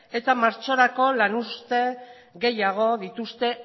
eta martxorako lanuzte gehiago dituzte